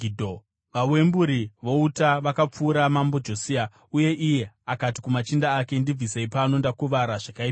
Vawemburi vouta vakapfura Mambo Josia, uye iye akati kumachinda ake, “Ndibvisei pano; ndakuvara zvakaipisisa.”